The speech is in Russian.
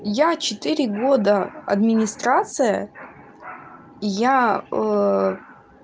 я четыре года администрация я